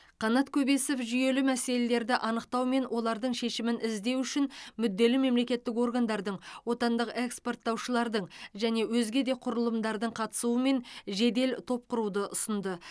қанат көбесов жүйелі мәселелерді анықтау мен олардың шешімін іздеу үшін мүдделі мемлекеттік органдардың отандық экспорттаушылардың және өзге де құрылымдардың қатысуымен жедел топ құруды ұсынды